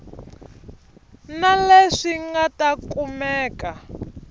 na leswi nga ta kumeka